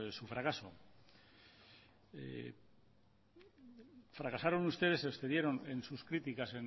su fracaso fracasaron ustedes se excedieron en sus criticas